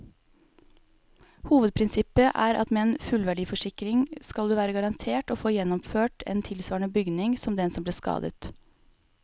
Hovedprinsippet er at med en fullverdiforsikring skal du være garantert å få gjenoppført en tilsvarende bygning som den som ble skadet.